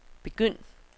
begynd